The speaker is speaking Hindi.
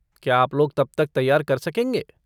क्या आप लोग तब तक तैयार कर सकेंगे?